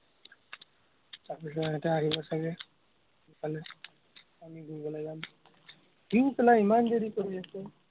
তাৰপিচত এটা আহিব চাগে, ফুৰিবলে যাম, কিনো ইমান দেৰি কৰি আছে।